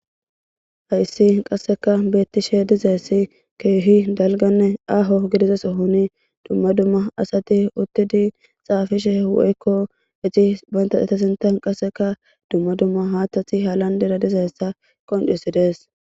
Hayssi qasseka beettishe dizeessi keehi dalganne aaho gidizaso huni dumma dumma asati uttidi xaafishe woykko iti banta etasintan qasseka dumma dumma haathtati halandera dizeessa qondisidees.